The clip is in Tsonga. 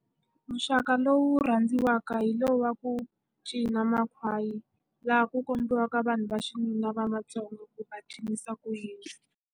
Muxaka lowu rhandziwaka hi lowu va ku cina makhwaya, laha ku kombiwaka vanhu va xinuna va matsongo ku va cinisa ku yini.